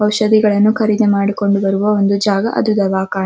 ಔಷದಿ ಗಳನ್ನ ಖರೀದಿ ಮಾಡುವ ಒಂದು ಜಾಗ